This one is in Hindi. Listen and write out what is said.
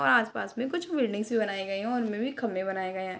और आस-पास में कुछ बिल्डिंग्स भी बनाए गए हैं उनमें भी खंभे बनाए गए हैं।